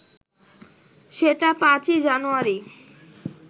সেটা ৫ই জানুয়ারি